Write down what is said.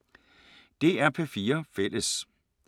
DR P4 Fælles